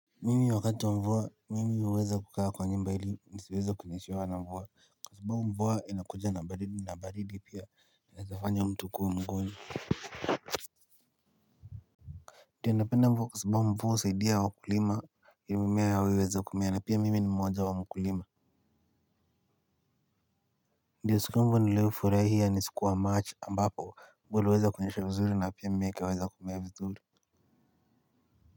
Mimi wakati wa mvua, mimi huweza kukaa kwa nyumba ili nisiweze kunyeshewa na mvua. Kwa sababu mvua inakuja na baridi pia. Naezafanya mtu kua mguni. Ndio napenda mvua kwa sababu mvua husaidia wakulima, ili mimea yaweze kumea na pia mimi ni mmoja wa mkulima. Ndiyo siku yangu niliyofurahia ni siku wa march ambapo mvua uliweza kunyesha vizuri na pia mimea ikaweza kumea vizuri.